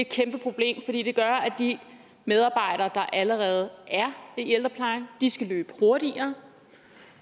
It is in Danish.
kæmpe problem fordi det gør at de medarbejdere der allerede er i ældreplejen skal løbe hurtigere